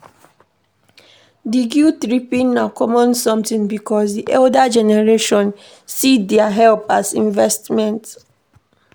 The guilt tripping na common something because di older generation see their help as investment